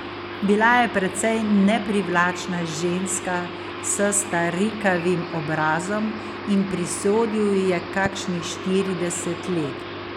Bila je precej neprivlačna ženska s starikavim obrazom in prisodil ji je kakšnih štirideset let.